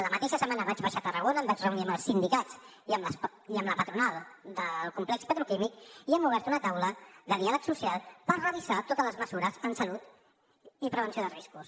la mateixa setmana vaig baixar a tarragona em vaig reunir amb els sindicats i amb la patronal del complex petroquímic i hem obert una taula de diàleg social per revisar totes les mesures en salut i prevenció de riscos